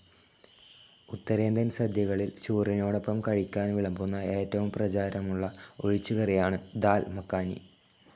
ഉത്തരേന്ധ്യൻ സാധ്യകളിൽ ചോറിനോടൊപ്പം കഴിക്കാൻ വിളംബന്ന ഏറ്റവും പ്രചാരമുല്ല ഒഴിച്ച്കറിയാണ് ദാൽ മഖാനി.